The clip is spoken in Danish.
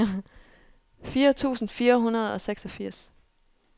fire tusind fire hundrede og seksogfirs